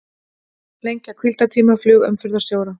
Lengja hvíldartíma flugumferðarstjóra